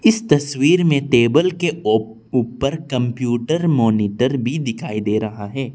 इस तस्वीर में टेबल के ओ ऊपर कंप्यूटर मॉनिटर भी दिखाई दे रहा है।